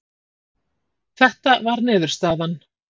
Þetta var niðurstaðan.